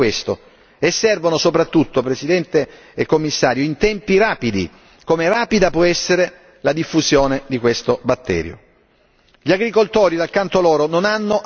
Servono maggiori fondi pubblici destinati a questo, e servono soprattutto, Presidente e Commissario, in tempi rapidi, come rapida può essere la diffusione di questo batterio.